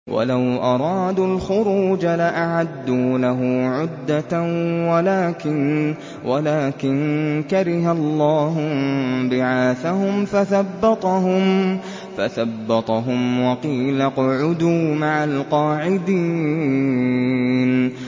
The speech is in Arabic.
۞ وَلَوْ أَرَادُوا الْخُرُوجَ لَأَعَدُّوا لَهُ عُدَّةً وَلَٰكِن كَرِهَ اللَّهُ انبِعَاثَهُمْ فَثَبَّطَهُمْ وَقِيلَ اقْعُدُوا مَعَ الْقَاعِدِينَ